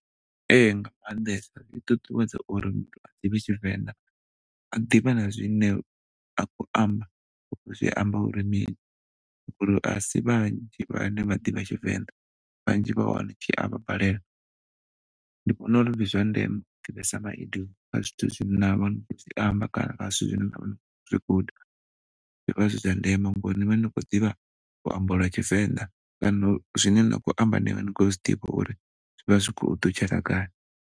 Ehe, nga maanḓesa a ṱuṱuwedza uri muthu a ḓivhe Tshivenḓa. A ḓivhe na zwine a khou amba uri zwi amba uri mini ngauri asi vhanzhi vhane vha ḓivha Tshivenḓa, vhanzhi vha hone tshi avha balela. Ndi vhona uri ndi zwa ndeme u ḓivhesa maidioma kha zwithu zwine na vha ni khou zwi amba kana kha zwithu zwine na ni khou zwi guda zwi vha zwa ndeme ngauri ni vha ni khou ḓivha luambo lwa Tshivenḓa kana zwine na khou amba ni a vha ni khou zwiḓivha uri zwi khou ṱutshela gai.